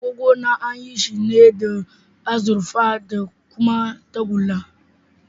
Agogona an yi shi ne da azurfa da kuma tagulla.